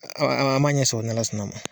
An ma an ma ɲɛ sɔrɔ n'ALA sɔnn'a ma.